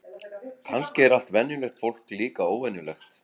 Kannski er allt venjulegt fólk líka óvenjulegt.